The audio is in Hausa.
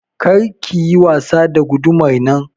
Kar ki yi wasa da gudumar nan!